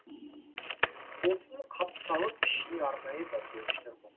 сосын қапталып ішіне арнайы дәмдеуіштер қос